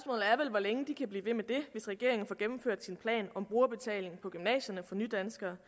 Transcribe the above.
hvor længe de kan blive ved med det hvis regeringen får gennemført sin plan om brugerbetaling på gymnasierne for nydanskere